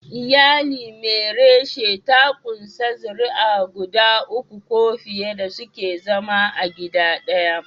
Iyali mai reshe ta kunshi zuriya guda uku ko fiye da suke zama a gida daya.